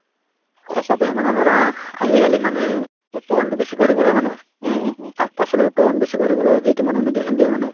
সঁচাদে মানে ধৰা আজিকালি মানুহে উৎপাদনতো বেছি কৰিবলৈ মানে শাক-পাচলিৰ উৎপাদন বেছি কৰিবলৈ যিটো মানে medicine দিয়ে মানে